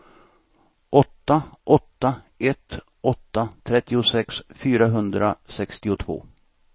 åtta åtta ett åtta trettiosex fyrahundrasextiotvå